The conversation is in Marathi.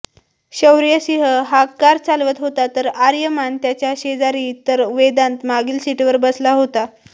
शौर्यसिंग हा कार चालवत होता तर आर्यमान त्याच्या शेजारी तर वेदांत मागील सीटवर बसला होता